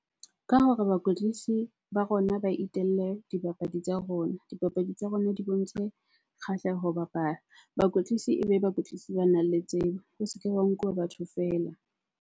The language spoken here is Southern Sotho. Ka hore bakwetlisi ba rona ba itelle dibapadi tsa rona, dibapadi tsa rona di bontshe kgahleho bapala. Bakwetlisi ebe bakwetlisi banang le tsebo, ho se ke wa nkuwa batho feela.